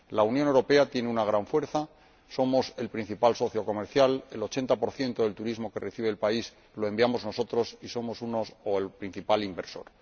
La Unión Europea tiene una gran fuerza somos el principal socio comercial, el 80 del turismo que recibe el país lo enviamos nosotros y somos el principal inversor.